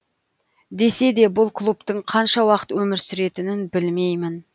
десе де бұл клубтың қанша уақыт өмір сүретінін білмеймін